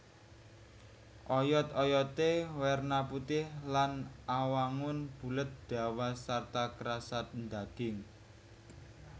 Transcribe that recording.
Oyot oyoté werna putih lan awangun bulet dawa sarta krasa ndaging